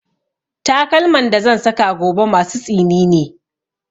Takalman da zan saka gobe masu tsini ne